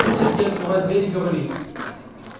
тут сергей открывает дверь и говорит